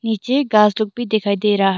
नीचे घास दुब दिखाई दे रा ह--